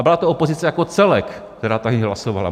A byla to opozice jako celek, která tady hlasovala.